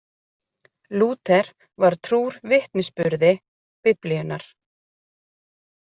Lúther var trúr vitnisburði Biblíunnar.